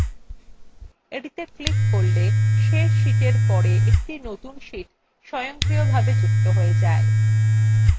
এটিত়ে click করলে এই series শেষ sheetএর পরে একটি নতুন sheet স্বয়ংক্রিয়ভাবে যুক্ত হয়ে যায়